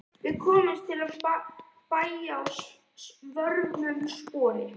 Við komumst til bæja að vörmu spori.